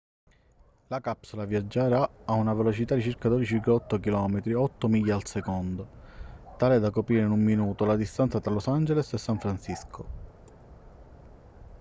la capsula viaggerà a una velocità di circa 12,8 km o 8 miglia al secondo tale da coprire in un minuto la distanza tra los angeles da san francisco